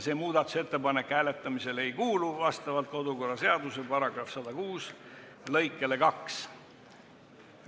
See muudatusettepanek vastavalt kodu- ja töökorra seaduse § 106 lõikele 2 hääletamisele ei kuulu.